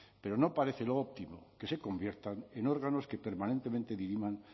pero no parece lo óptimo que se conviertan en órganos que permanentemente diriman